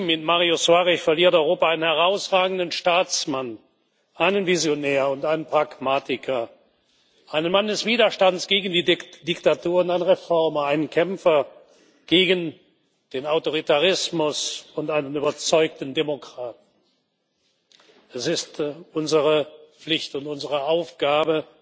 Mit Mário Soares verliert Europa einen herausragenden Staatsmann, einen Visionär und einen Pragmatiker, einen Mann des Widerstands gegen die Diktatur und einen Reformer, einen Kämpfer gegen den Autoritarismus und einen überzeugten Demokraten. Es ist unsere Pflicht und unsere Aufgabe,